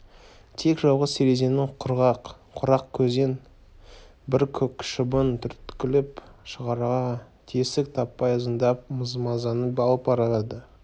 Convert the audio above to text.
тек жалғыз терезенің құрақ көзін бір көк шыбын түрткілеп шығарға тесік таппай ызыңдап мазаны алып барады